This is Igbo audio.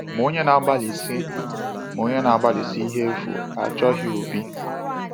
“Ma onye na-agbalịsi “Ma onye na-agbalịsi ihe efu achọghị obi.”